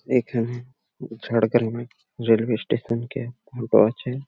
এখানে ঝাড়গ্রামের railway station -কে আছে।